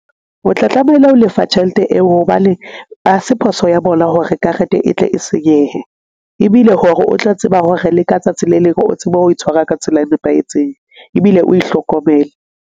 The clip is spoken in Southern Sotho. O tla tlameile ho lefa tjhelete eo hobane ha se phoso ya bona hore karete e tle e senyehe. Ebile hore o tla tseba hore leka tsatsi le leng o tsebe ho itshwara ka tsela e nepahetseng ebile o e hlokomele.